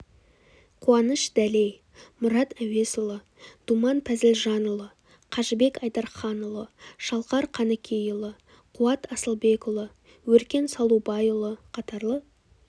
қуаныш дәлей мұрат әуесұлы думан пазілжанұлы қажыбек айдарханұлы шалқар қаныкейұлы қуат асылбекұлы өркен салубайұлы қатарлы